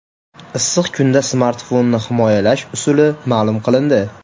Issiq kunda smartfonni himoyalash usuli ma’lum qilindi.